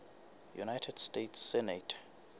united states senate